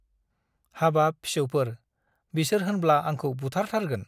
हाबाब ! फिसौफोर बिसोर होमब्ला आंखौ बुथार थारगोन ।